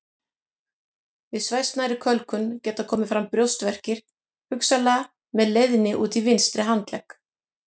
Við svæsnari kölkun geta komið fram brjóstverkir hugsanlega með leiðni út í vinstri handlegg.